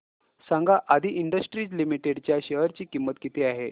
सांगा Aadi industries limited च्या share ची किंमत किती आहे